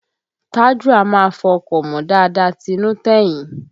Tájù a máa fọ ọkọ̀ mọ́ dáadáa tinú tẹ̀yìn